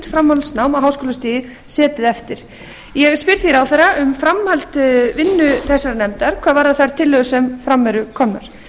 framhaldsnám á háskólastigi setið eftir ég spyr því ráðherra um framhaldsvinnu þessarar nefndar hvað varðar þær tillögur sem fram eru komnar